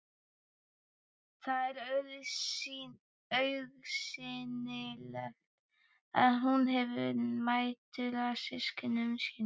Það er augsýnilegt að hún hefur mætur á systkinum sínum.